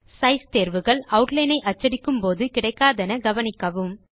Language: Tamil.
சைஸ் தேர்வுகள் ஆட்லைன் ஐ அச்சடிக்கும் போது கிடைக்காதென கவனிக்கவும்